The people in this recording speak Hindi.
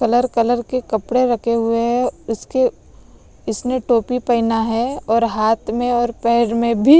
कलर कलर के कपड़े रखे हुए हैं उसके इसने टोपी पहना है और हाथ में और पैर में भी।